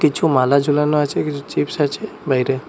কিছু মালা ঝোলানো আছে কিছু চিপস আছে বাইরে।